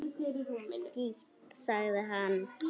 Skítt, sagði hann.